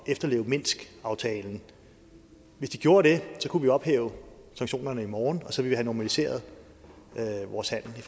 efterleve minskaftalen hvis de gjorde det kunne vi ophæve sanktionerne i morgen og så ville vi have normaliseret vores handel i